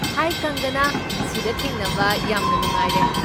ꯍꯥꯏ ꯀꯪꯒꯅꯥ, ꯁꯤꯗ ꯊꯦꯡꯅꯕ ꯌꯥꯝꯅ ꯅꯨꯡꯉꯥꯏꯔꯦ꯫